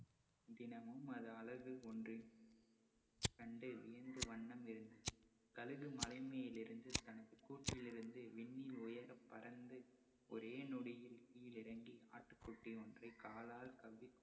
தினமும் அது கண்டு வியந்து வண்ணம் இருந்தது. கழுகு மலை மேல் இருந்து தனது கூட்டில் இருந்து, விண்மீன் உயர பறந்து ஒரே நொடியில் கீழிறங்கி ஆட்டுக்குட்டி ஒன்றை காலால் கவ்விக்கொண்டு